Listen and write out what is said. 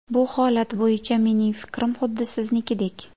Bu holat bo‘yicha mening fikrim xuddi siznikidek.